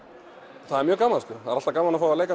það er mjög gaman alltaf gaman að leika